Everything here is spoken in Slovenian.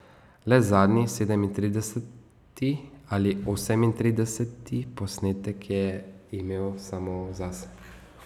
Le zadnji, sedemintrideseti ali osemintrideseti posnetek, je imel samo zase.